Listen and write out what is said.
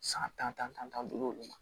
San tan duuru ma